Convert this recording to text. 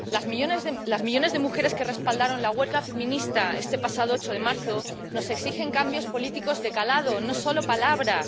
Los millones de mujeres que respaldaron la huelga feminista este pasado 8 de marzo nos exigen cambios políticos de calado, no solo palabras.